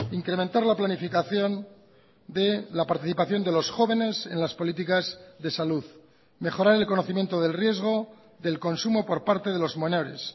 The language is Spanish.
incrementar la planificación de la participación de los jóvenes en las políticas de salud mejorar el conocimiento del riesgo del consumo por parte de los menores